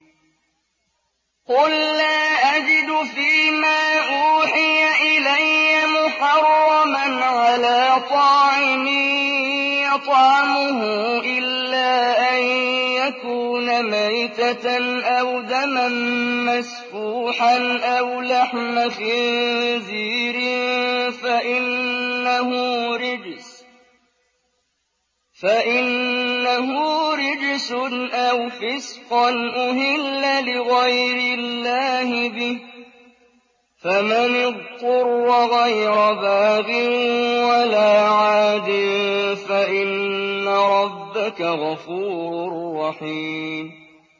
قُل لَّا أَجِدُ فِي مَا أُوحِيَ إِلَيَّ مُحَرَّمًا عَلَىٰ طَاعِمٍ يَطْعَمُهُ إِلَّا أَن يَكُونَ مَيْتَةً أَوْ دَمًا مَّسْفُوحًا أَوْ لَحْمَ خِنزِيرٍ فَإِنَّهُ رِجْسٌ أَوْ فِسْقًا أُهِلَّ لِغَيْرِ اللَّهِ بِهِ ۚ فَمَنِ اضْطُرَّ غَيْرَ بَاغٍ وَلَا عَادٍ فَإِنَّ رَبَّكَ غَفُورٌ رَّحِيمٌ